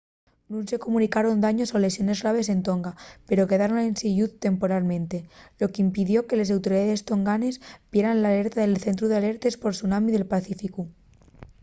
nun se comunicaron daños o lesiones graves en tonga pero quedaron ensin lluz temporalmente lo qu'impidió que les autoridaes tonganes vieran l'alerta del centru d'alertes por tsunami del pacíficu